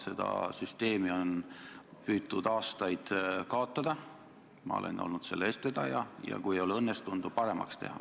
Seda süsteemi on püütud aastaid kaotada, ma olen olnud selle eestvedaja, ja kui see ei ole ka õnnestunud, siis on püütud seda vähemalt paremaks teha.